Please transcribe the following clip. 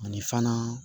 Ani fana